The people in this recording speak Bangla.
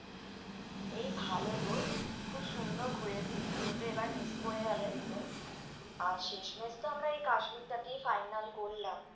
এই ভালো গো খুব সুন্দর ঘুরেছি, তুমি তো এবার miss করে গেলে পুরো আর শেষমেশ তো আমরা এই কাশ্মীরটাকেই final করলাম।